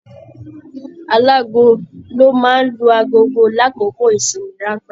Aláàgo ló máa n lu aago l'akoko ìsinmi ranpẹ̀.